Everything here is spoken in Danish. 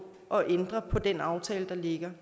at ændre på den aftale der ligger